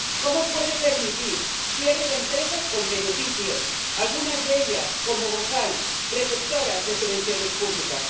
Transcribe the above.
¿Cómo puede permitir el cierre de empresas con beneficios, algunas de ellas, como Bosal, receptoras de subvenciones públicas?